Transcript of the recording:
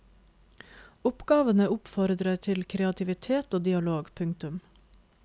Oppgavene oppfordrer til kreativitet og dialog. punktum